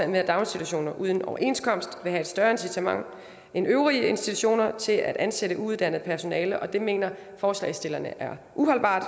med at daginstitutioner uden overenskomst vil have et større incitament end øvrige institutioner til at ansætte uuddannet personale og det mener forslagsstillerne er uholdbart